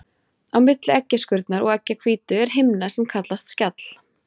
Á milli eggjaskurnar og eggjahvítu er himna sem kallast skjall.